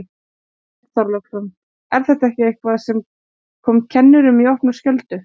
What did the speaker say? Björn Þorláksson: Er þetta eitthvað sem kom kennurum í opna skjöldu?